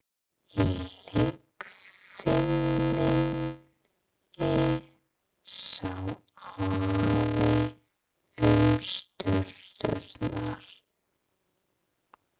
Í leikfiminni sá Afi um sturturnar.